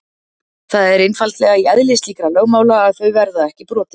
Það er einfaldlega í eðli slíkra lögmála að þau verða ekki brotin.